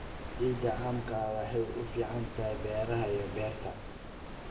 Ciidda caamka ah waxay u fiican tahay beeraha iyo beerta.